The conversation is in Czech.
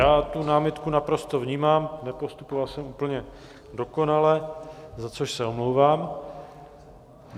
Já tu námitku naprosto vnímám, nepostupoval jsem úplně dokonale, za což se omlouvám.